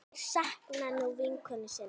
Þær sakna nú vinkonu sinnar.